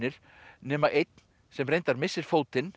nema einn sem reyndar missir fótinn